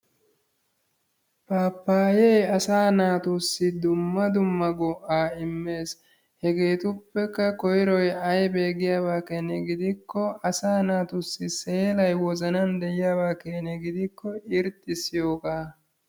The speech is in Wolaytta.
Paapaye asa naatussi dumma dumma go'aa immes. Hegetupekka koyiroy ayibe giyabakengidikko asa naatussi seelay wozanaani diyaaba gidikko irxissiyooga.